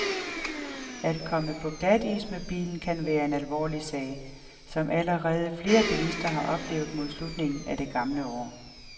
At komme på glatis med bilen kan være en alvorlig sag, som allerede flere bilister har oplevet mod slutningen af det gamle år.